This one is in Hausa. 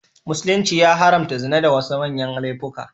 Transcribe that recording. Musulunci ya haramta zina da wasu manyan laifuka.